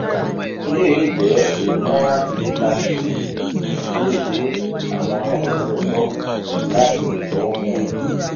eleyi le jẹ a morrant baker's cyst bi o ti wi awọn oniwe-nbo lati orokunknee